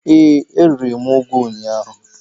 Ee, e riri m ugu ụnyaahụ.